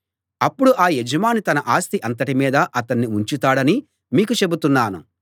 అప్పుడు ఆ యజమాని తన ఆస్తి అంతటి మీదా అతణ్ణి ఉంచుతాడని మీకు చెబుతున్నాను